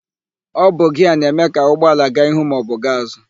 Ọ bụ giaa na-eme ka ụgbọala gaa ihu maọbụ gaa azụ.